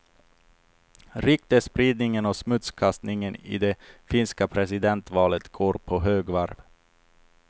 Ryktesspridningen och smutskastningen i det finska presidentvalet går på högvarv.